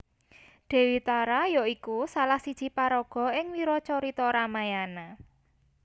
Déwi Tara ya iku salah siji paraga ing wiracarita Ramayana